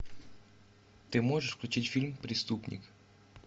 ты можешь включить фильм преступник